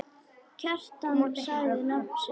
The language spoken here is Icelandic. Kjartan sagði nafn sitt.